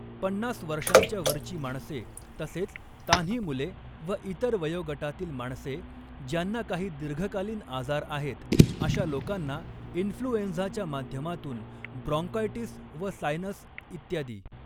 पन्नास वर्षांच्या वरची माणसे तसेच तान्ही मुले व इतर वयोगटातील माणसे ज्यांना काही दीर्घकालीन आजार आहेत अश्या लोकांना इन्फ्लुएंझाच्या माध्यमातून ब्रॉङ्कायटिस व सायनस् इ.